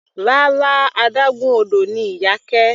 Rárá, adágún odò ni Iyake.